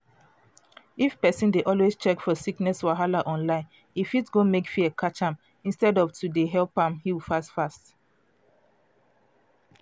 if pesin dey always check for sickness wahala online e um go mek fear catch am instead of to dey help am heal fast fast.